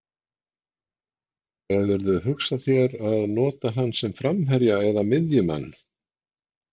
Hefurðu hugsað þér að nota hann sem framherja eða miðjumann?